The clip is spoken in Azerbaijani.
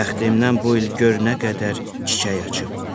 Bəxtimdən bu il gör nə qədər çiçək açıb.